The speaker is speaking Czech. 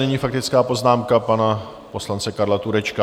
Nyní faktická poznámka pana poslance Karla Turečka.